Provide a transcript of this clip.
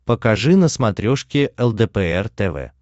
покажи на смотрешке лдпр тв